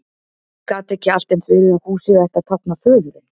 Gat ekki allt eins verið að húsið ætti að tákna föðurinn?